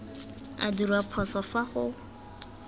a dirwa phoso fa go